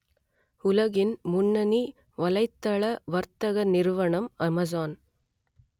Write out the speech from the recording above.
உலகின் முன்னணி வலைத்தள வர்த்தக நிறுவனம் அமேசான்